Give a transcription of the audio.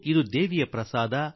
ಇದು ಮಾತಾಜೀಯ ಪ್ರಸಾದ